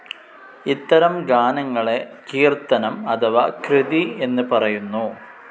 ഇത്തരം ഗാനങ്ങളെ കീർത്തനം അഥവാ കൃതി എന്ന് പറയുന്നു.